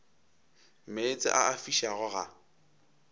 meetse a a fišago ga